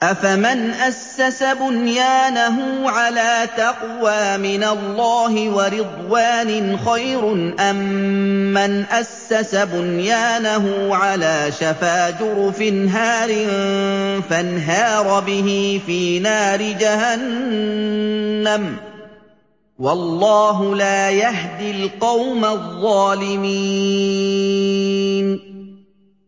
أَفَمَنْ أَسَّسَ بُنْيَانَهُ عَلَىٰ تَقْوَىٰ مِنَ اللَّهِ وَرِضْوَانٍ خَيْرٌ أَم مَّنْ أَسَّسَ بُنْيَانَهُ عَلَىٰ شَفَا جُرُفٍ هَارٍ فَانْهَارَ بِهِ فِي نَارِ جَهَنَّمَ ۗ وَاللَّهُ لَا يَهْدِي الْقَوْمَ الظَّالِمِينَ